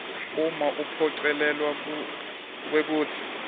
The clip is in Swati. uma uphocelelwa kwekutsi